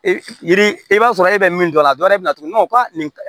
E yiri i b'a sɔrɔ e bɛ min dɔn a la dɔ yɛrɛ bɛ na tuguni ko a nin